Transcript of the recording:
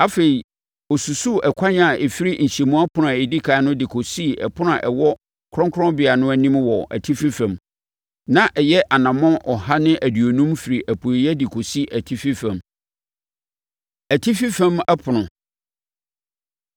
Afei ɔsusuu ɛkwan a ɛfiri nhyɛnmu ɛpono a ɛdi ɛkan no de kɔsii ɛpono a ɛwɔ Kronkronbea no anim wɔ atifi fam; na ɛyɛ anammɔn ɔha ne aduonum firi apueeɛ de kɔsi atifi fam. Atifi Fam Ɛpono